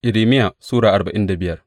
Irmiya Sura arba'in da biyar